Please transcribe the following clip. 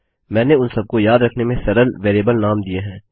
मैंने उन सबको याद रखने में सरल वेरिएबल नाम दिए हैं